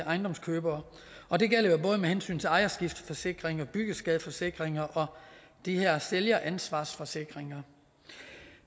ejendomskøbere og det gælder jo både med hensyn til ejerskifteforsikringer byggeskadeforsikringer og de her sælgeransvarsforsikringer